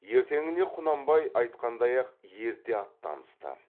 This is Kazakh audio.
ертеңінде құнанбай айтқандай ақ ерте аттанысты